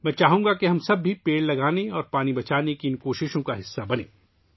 میں چاہوں گا کہ ہم سب درخت لگانے اور پانی کو بچانے کی ،ان کوششوں کا حصہ بنیں